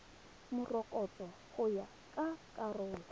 morokotso go ya ka karolo